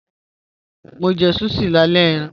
Mo jẹ̀ sushi làlẹ̀ ẹ̀ran.